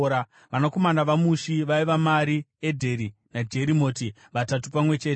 Vanakomana vaMushi vaiva: Mari, Edheri, naJerimoti, vatatu pamwe chete.